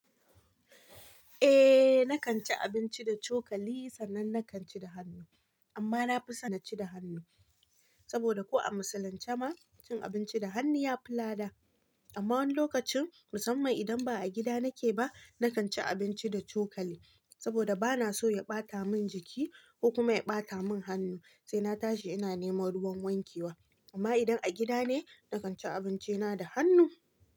Eh, nakan ci abinci da cokali sannan nakan ci da hannu, amma na fi son na ci da hannu saboda ko a musulunce ma, cin abinci da hannu ya fi lada. Amma wani lokacin musamman idan ba a gida nake ba, nakan ci abinci da cokali saboda bana so ya ɓata min jiki, ko kuma ya ɓata min hannu sai na tashi ina nema ruwan wankewa. Amma idan a gida ne, nakan ci abinci na da hannu.